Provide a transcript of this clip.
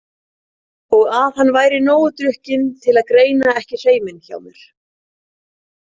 Og að hann væri nógu drukkinn til að greina ekki hreiminn hjá mér.